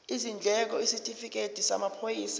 izindleko isitifikedi samaphoyisa